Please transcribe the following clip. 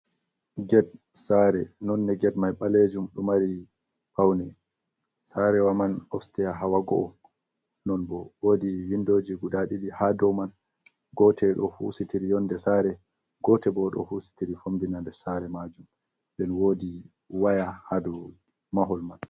Ged saare nonne ged may ɓaleejum, ɗo mari pawne. Saarewa man opseya hawa go’o, non bo woodi winndoji guda ɗiɗi haa dow man, gootel ɗo husitiri yonnde saare, gootel bo ɗo husitiri fombina nder saare maajum. Nden woodi waya haa dow mahol man.